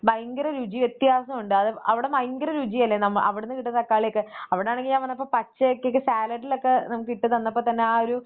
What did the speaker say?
ഭയങ്കര രുചിവ്യത്യാസം ഉണ്ട് അത് അവടെ ഭയങ്കര രുചിയല്ലേ? നമ്മ, അവിടുന്ന് കിട്ടുന്നത് തക്കാളിയോക്കെ അവിടെയാണെങ്കിൽ ഞാൻ വന്നപ്പോ പച്ചയെക്കെ സാലഡിലൊക്കെ നമുക്ക് ഇട്ടു തന്നപ്പം തന്നെ ആ ഒരു